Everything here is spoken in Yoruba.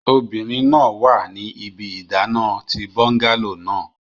Obinrin naa wa ni ibi idana ti bungalow naa